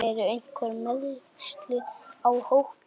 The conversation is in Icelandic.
Eru einhver meiðsli á hópnum?